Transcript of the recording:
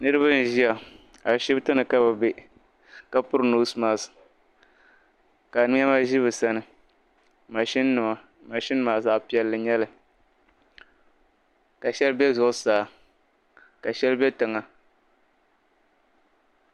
Niriba n-ʒiya ashibiti ni ka be bɛ ka piri "nose mask" ka nɛma ʒi be sani "machine"nima "machine"maa zaɣ'piɛlli n-nyɛli ka shɛli be zuɣusaa ka shɛli be tiŋa.